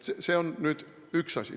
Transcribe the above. See on üks asi.